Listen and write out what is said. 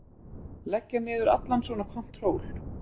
Leggja niður allan svona kontról.